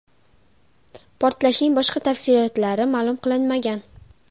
Portlashning boshqa tafsilotlari ma’lum qilinmagan.